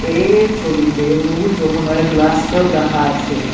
এর ছবিতে বহুৎ রকমের গ্লাস কাপ রাখা আছে।